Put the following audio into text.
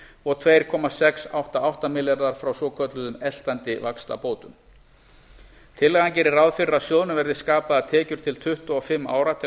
og tvö komma sex átta átta milljarðar frá svokölluðum eltandi vaxtabótum tillagan gerir ráð fyrir að sjóðnum verði skapaðar tekjur til tuttugu og fimm ára til